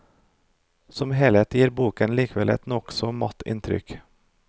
Som helhet gir boken likevel et nokså matt inntrykk.